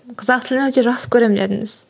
қазақ тілін өте жақсы көремін дедіңіз